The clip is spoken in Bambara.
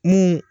Mun